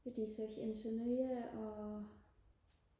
de søger en sønderjyde og